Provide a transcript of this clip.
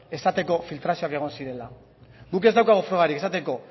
esateko filtrazioak egon zirela guk ez daukagu frogarik esateko